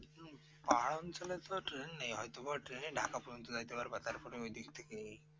পাহাড় অঞ্চলে তো ট্রেন নেই হয়তোবা ট্রেন ে ঢাকা পর্যন্ত যাইতে পারবা তারপরে ওই দিক থেকে